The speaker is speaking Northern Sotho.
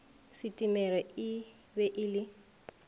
setemere e be e le